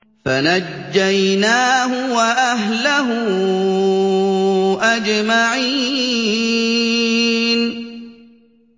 فَنَجَّيْنَاهُ وَأَهْلَهُ أَجْمَعِينَ